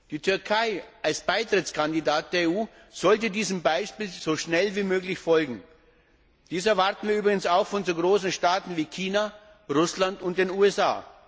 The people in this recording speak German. Die Türkei als EU Beitrittskandidat sollte diesem Beispiel so schnell wie möglich folgen. Dies erwarten wir übrigens auch von so großen Staaten wie China, Russland und den USA.